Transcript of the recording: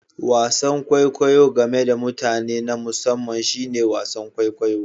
Wasan kwaikwayo game da mutane na musamman shine wasan kwaikwayo